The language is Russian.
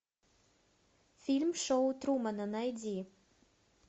фильм шоу трумана найди